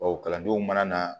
Bawo kalandenw mana na